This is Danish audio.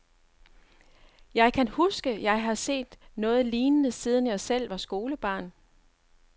Jeg kan ikke huske, jeg har set noget lignende, siden jeg selv var skolebarn.